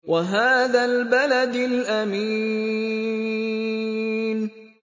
وَهَٰذَا الْبَلَدِ الْأَمِينِ